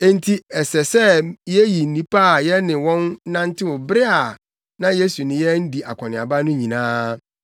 Enti ɛsɛ sɛ yeyi nnipa a yɛne wɔn nantew bere a na Yesu ne yɛn di akɔneaba no nyinaa,